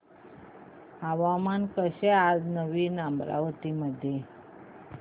हवामान कसे आहे नवीन अमरावती मध्ये